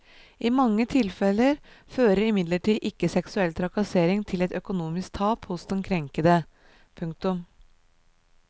I mange tilfeller fører imidlertid ikke seksuell trakassering til et økonomisk tap hos den krenkede. punktum